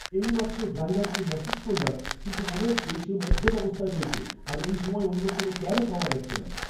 এইমাত্র ড্রাইভারকে মেসেজ করলাম কিন্তু মনে হচ্ছে সে মদ্যপ অবস্থায় রয়েছে আর এই সময়ে অন্য কোনও ক্যাবও পাওয়া যাচ্ছে না।